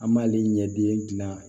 An b'ale ɲɛde gilan